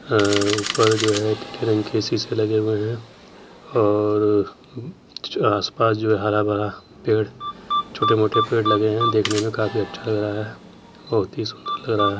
हाँ ऊपर जो है नीले रंग के शीशे लगे हुए हैं और हम्म आस पास जो है हरा भरा पेड़ छोटे मोटे पेड़ लगे हुए हैं देखने में काफी अच्छा लग रहा है बहुत ही सुन्दर लग रहा है।